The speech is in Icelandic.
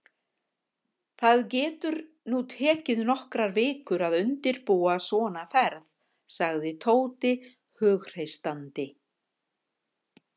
Það getur nú tekið nokkrar vikur að undirbúa svona ferð sagði Tóti hughreystandi.